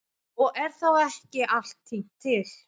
Og er þá ekki allt tínt til.